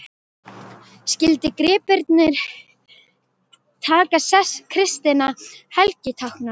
Skyldu gripirnir taka sess kristinna helgitákna.